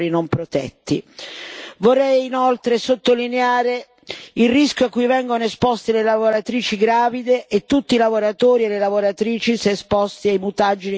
Vorrei inoltre sottolineare il rischio a cui vengono esposti le lavoratrici gravide e tutti i lavoratori e le lavoratrici se esposti ai mutageni interferenti endocrini.